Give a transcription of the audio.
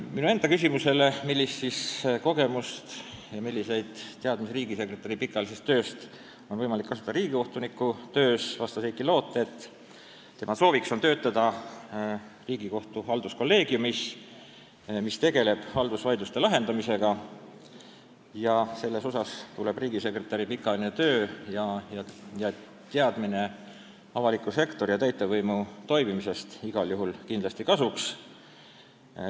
Minu enda küsimusele, milliseid kogemusi ja milliseid teadmisi riigisekretäri pikaajalisest tööst on võimalik kasutada riigikohtuniku töös, vastas Heiki Loot, et tema soov on töötada Riigikohtu halduskolleegiumis, mis tegeleb haldusvaidluste lahendamisega, ja selles osas tulevad riigisekretäri pikaajaline töö ja teadmised avaliku sektori ja täitevvõimu toimimisest igal juhul kasuks.